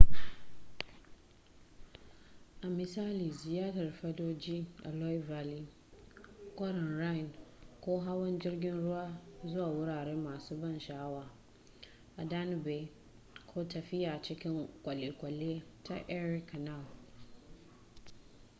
a misali ziyartar fadoji a loire valley kwarin rhine ko hawan jirgin ruwa zuwa wurare masu ban sha'awa a danube ko tafiya cikin kwalekwale ta erie canal